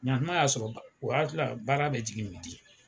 Yan kuma y'a sɔrɔ o w aati la baara bɛ jigin